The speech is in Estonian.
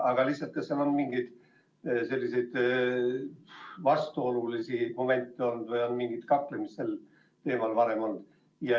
Kas sel teemal on varem mingeid vastuolulisi momente või kaklemist olnud?